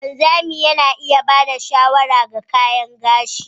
Wanzami Yana iya ba da shawara ga kayan gashi.